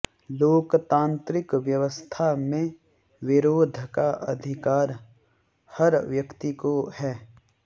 लोकतांत्रिक व्यवस्था में विरोध का अधिकार हर व्यक्ति को है